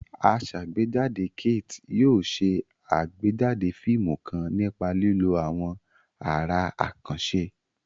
Asàgbéjáde Kate yóò ṣe àgbéjáde fíìmù kan nípa lílo àwọn àrà àkànṣe.